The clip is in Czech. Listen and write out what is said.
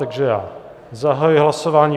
Takže já zahajuji hlasování.